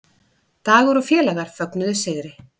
Dagur og félagar fögnuðu sigri